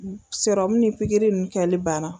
Sɔrɔmu ni pigiri nu kɛli banna